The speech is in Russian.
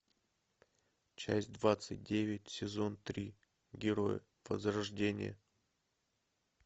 часть двадцать девять сезон три герои возрождение